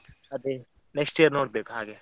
ಅದೇ, next year ನೋಡ್ಬೇಕು ಹಾಗೆ.